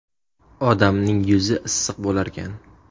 Odamning yuzi issiq bo‘larkan.